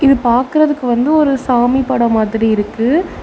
பாக்கறதுக்கு வந்து ஒரு சாமி படோ மாதிரி இருக்கு.